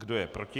Kdo je proti?